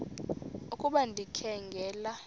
ukuba ndikha ngela